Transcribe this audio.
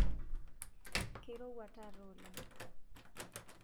keirowua taata oleng